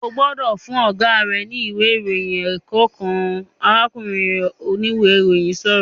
"Ó gbọ́dọ̀ fún Ọ̀gá rẹ ní ìwé ìròyìn ẹ̀kọ́ kan!", arákùnrin oníwe ìròyìn sọ̀rọ̀